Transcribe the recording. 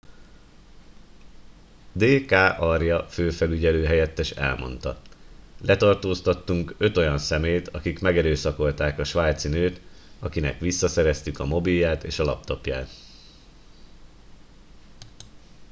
d k arya főfelügyelő helyettes elmondta letartóztattunk öt olyan személyt akik megerőszakolták a svájci nőt akinek visszaszereztük a mobilját és a laptopját